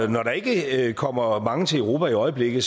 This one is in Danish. der ikke kommer mange til europa i øjeblikket